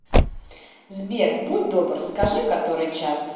сбер будь добр скажи который час